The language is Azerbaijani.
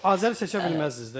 Azəri seçə bilməzdiniz də yəni.